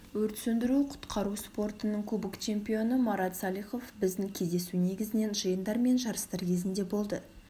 өрт сөндіру-құтқару спортының кубок чемпионы марат саликов біздің кездесу негізінен жиындар мен жарыстар кезінде болды